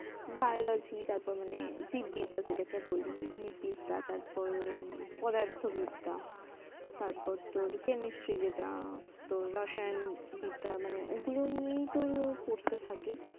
biology তারপর মানে জীববিদ্যা যাটাকা বলি জীববিদ্যা তারপর্ পদার্থবিদ্যা তারপর্ তোর্ chemistry মানে রসায়নবিদ্যা নিয়ে পড়তে থাকে